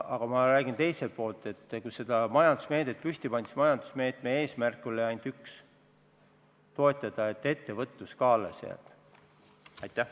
Aga ma räägin, et kui seda majandusmeedet püsti pandi, siis selle eesmärk oli ainult üks: toetada ettevõtluse allesjäämist.